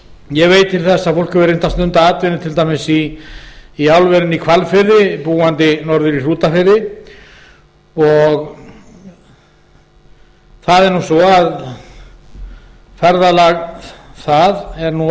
ég veit til þess að fólk hefur reynt að stunda atvinnu til dæmis í álverinu í hvalfirði búandi norður í hrútafirði ferðalag það er